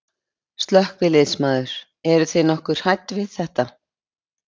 Slökkviliðsmaður: Eruð þið nokkuð hrædd við þetta?